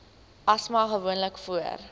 asma gewoonlik voor